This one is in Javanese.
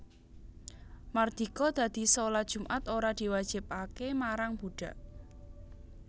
Mardika dadi shalat Jumat ora diwajibake marang budhak